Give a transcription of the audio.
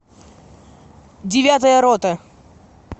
девятая рота